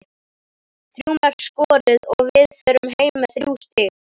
Þrjú mörk skoruð og við förum heim með þrjú stig.